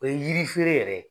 O ye yiri fere yɛrɛ ye